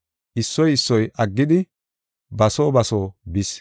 Issoy issoy aggidi ba soo ba soo bis.